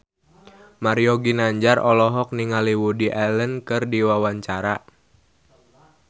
Mario Ginanjar olohok ningali Woody Allen keur diwawancara